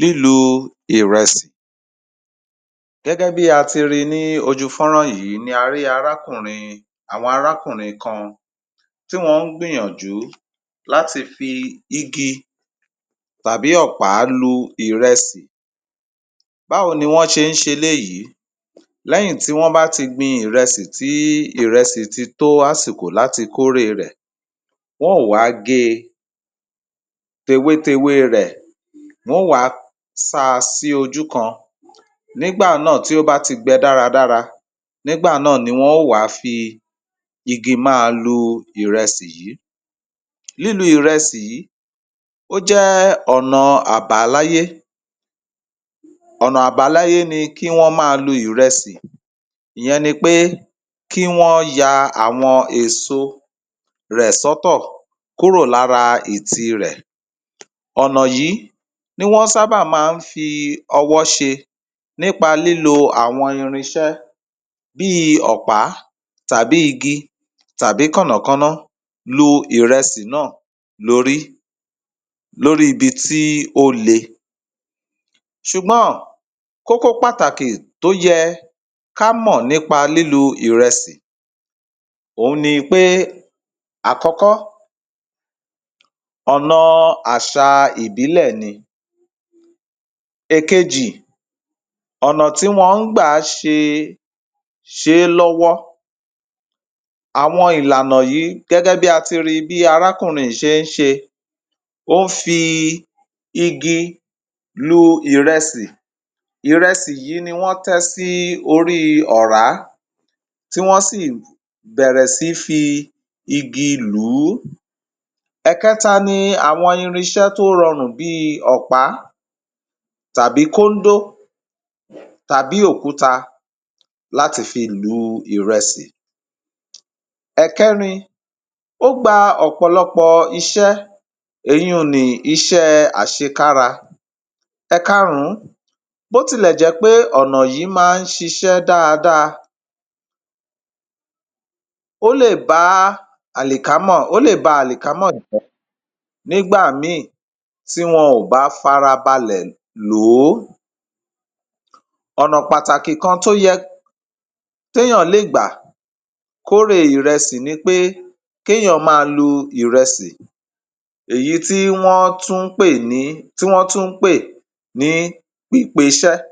Lílu ìrẹsì, gẹ́gẹ́ bí a ti rí i ní ojú fọ́nrá yìí ni a rí arákùnrin, àwọn arákùnrin kan tí wọ́n ń gbìyànjú láti fi igi tàbí ọ̀pá lu ìrẹsì. Báwo ni wọ́n ṣe ń ṣe eléyìí? Lẹ́yìn tí wọ́n bá ti gbin ìrẹsì tí ìrẹsì ti tó àsìkò láti kọ́rè rẹ̀, wọn ó wá gé e, tewétewé rẹ̀, wọn ó wá sá a sí ojú kan, nígbà náà, tí ó bá ti gbẹ dáradára, nígbà náà ni wọn ó wá fi igi máa lu ìrẹsì yìí. Lílu ìrẹsì yìí, ó jẹ́ ọ̀nà àbáláyé, ọ̀nà àbáláyé ni kí wọń máa lu ìrẹsì, ìyẹn ni pé kí wọn ya àwọn èso rẹ̀ sọ́tọ̀ kúrò lára ìtì rẹ̀. Ọ̀nà yìí ni wọ́n sábà máa ń fi ọwọ́ ṣe nípa lílo àwọn irinṣẹ́ bíi ọ̀pá tàbí igi tàbí kànnàkánná lu ìrẹsì náà lórí, lórí ibi tí ó le. Ṣùgbọ́n, kókó pàtàkì tó yẹ ká mọ̀ nípa lílu ìrẹsì òun ni pé, àkọ́kọ́, ọ̀nà àṣà ìbílẹ̀ ni, èkejì, ọ̀nạ̀ tí wọ́n ń gbà ṣe, ṣe é lọ́wọ́. Àwọn ìlànà yìí gẹ́gẹ́ bí a ti ri bí arákùnrin yìí ṣe ń ṣe, ó ń fi igi lu ìrẹsì, ìrẹsì yìí ni wọ́n tẹ sí orí ọ̀rá, tí wọ́n sì bẹ̀rẹ̀ sí í fi igi lù ú. Ẹ̀kẹ́ta ni àwọn irinṣẹ́ tó rọrùn bíi ọ̀pá, tàbí kóńdó tàbí òkúta láti fi lu ìrẹsì. Ẹ̀kẹ́rin, ó gba ọ̀pọ̀lọpọ̀ iṣẹ́, èyí ni iṣẹ́ àṣekára. Ẹ̀kárùn-ún, bó tilẹ̀ jẹ́ pé ọ̀nà yìí máa ń ṣiṣẹ́ dáadáa, ó lè bá àlìkámọ̀, ó lè bá àlìkámọ̀ nígbà mìíràn tí wọ́n o bá farabalẹ̀ lò ó. Ọ̀nà pàtàkì kan tó yẹ, téèyàn lè gbà kórè ìrẹsì ni pé kéèyàn máa lu ìrẹsì, èyí tí wọ́n tún ń pè ní, tí wọ́n tún ń pè ní pípeṣẹ́,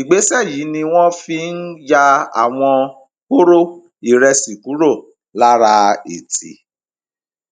ìgbésẹ̀ yìí ni wọ́n fi ń ya àwọn kóró ìrẹsì kúrò lára ìtì